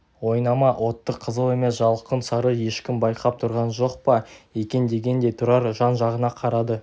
ойнама отты қызыл емес жалқын сары ешкім байқап тұрған жоқ па екен дегендей тұрар жан-жағына қарады